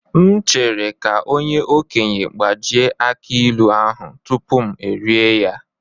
M chere ka onye okenye gbajie aki ilu ahu tupu m erie ya.